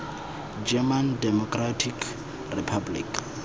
german democratic republic